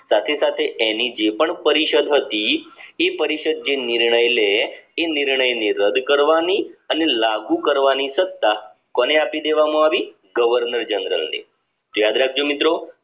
સાથે સાથે જે પણ એની જે પણ પરિષદ હતી એ પરિષદ જે નિર્ણય લે એ નિર્ણય ને રાડ કરવાની અને લાગુ કરવાની સત્તા કોને આપી દેવામાં આવી governor general ને યાદ રાખજો મિત્રો